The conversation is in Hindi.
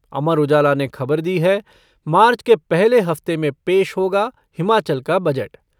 अमर उजाला ने ख़बर दी है मार्च के पहले हफ़्ते में पेश होगा हिमाचल का बजट।